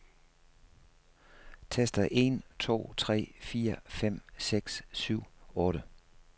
Tester en to tre fire fem seks syv otte.